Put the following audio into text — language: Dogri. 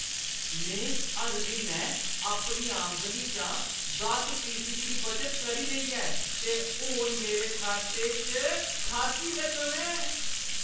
मैं हर म्हीनै अपनी आमदनी दा दस फीसदी दी बचत करी लेई ऐ ते हून मेरे खाते च खासी रकम ऐ।